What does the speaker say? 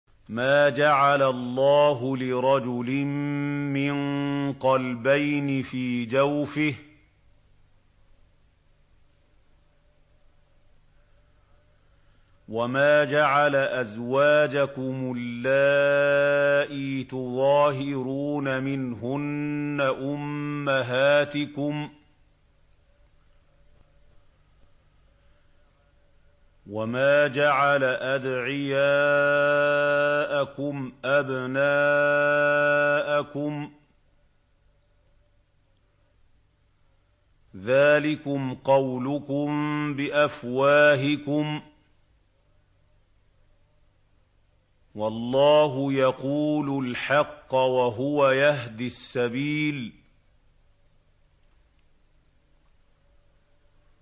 مَّا جَعَلَ اللَّهُ لِرَجُلٍ مِّن قَلْبَيْنِ فِي جَوْفِهِ ۚ وَمَا جَعَلَ أَزْوَاجَكُمُ اللَّائِي تُظَاهِرُونَ مِنْهُنَّ أُمَّهَاتِكُمْ ۚ وَمَا جَعَلَ أَدْعِيَاءَكُمْ أَبْنَاءَكُمْ ۚ ذَٰلِكُمْ قَوْلُكُم بِأَفْوَاهِكُمْ ۖ وَاللَّهُ يَقُولُ الْحَقَّ وَهُوَ يَهْدِي السَّبِيلَ